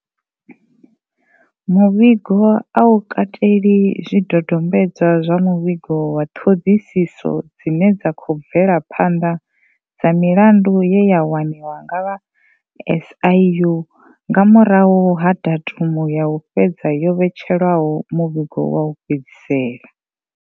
Muvhigo a u kateli zwi dodombedzwa zwa muvhigo wa ṱhoḓisiso dzine dza khou bvela phanḓa dza milandu ye ya waniwa nga vha SIU nga murahu ha datumu ya u fhedza yo vhetshelwaho muvhigo wa u fhedzisela.